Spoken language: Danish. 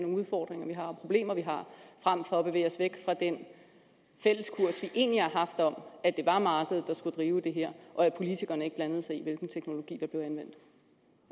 udfordringer og problemer vi har frem for at bevæge os væk fra den fælles kurs vi egentlig har haft om at det var markedet der skulle drive det her og at politikerne ikke blandede sig i hvilken teknologi der blev anvendt